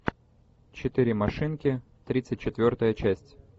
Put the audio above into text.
четыре машинки тридцать четвертая часть